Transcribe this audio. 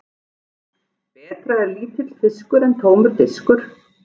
Betra er lítill fiskur en tómur diskur.